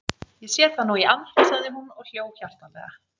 Ég sé það nú í anda sagði hún og hló hjartanlega.